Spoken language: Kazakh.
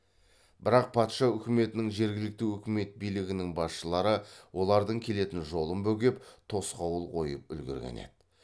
бірақ патша үкіметінің жергілікті өкімет билігінің басшылары олардың келетін жолын бөгеп тосқауыл қойып үлгерген еді